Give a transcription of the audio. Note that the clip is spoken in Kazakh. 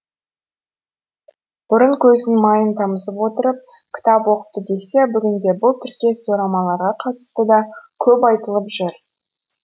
бұрын көзінің майын тамызып отырып кітап оқыпты десе бүгінде бұл тіркес дорамаларға қатысты да көп айтылыпжүр